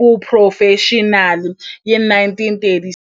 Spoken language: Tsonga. xiphurofexinali hi 1936.